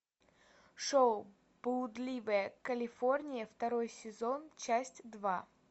шоу блудливая калифорния второй сезон часть два